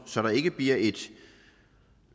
så der ikke bliver et